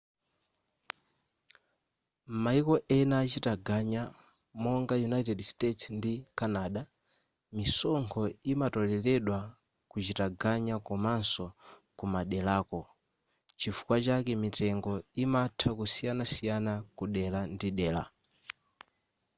m'mayiko ena achitaganya monga united states ndi canada misonkho imatoleledwa kuchitaganya komanso kumaderako chifukwa chake mitengo imatha kusiyanasiyana kudera ndi dera